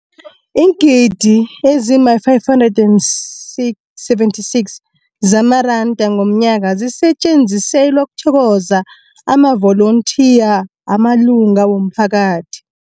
Iingidi ezima-576 zamaranda ngomnyaka zisetjenziselwa ukuthokoza amavolontiya amalunga womphakathi.